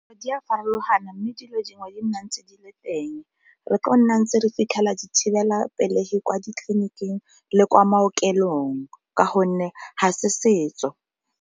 Di a farologana mme dilo dingwe tse di nang tse di le teng, re tlo go nna ntse re fitlhela dithibelapelegi kwa ditleliniking le kwa maokelong ka gonne ga se setso.